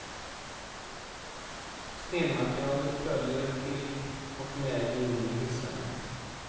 Stenmaterialet följer till och med in i hissarna.